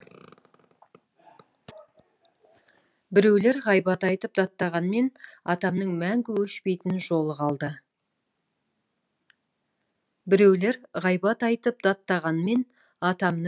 біреулер ғайбат айтып даттағанмен атамның мәңгі өшпейтін жолы қалды